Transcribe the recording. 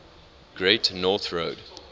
great north road